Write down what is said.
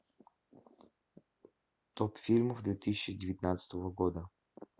топ фильмов две тысячи девятнадцатого года